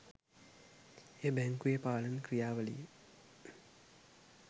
එය බැංකුවේ පාලන ක්‍රියාවලියේ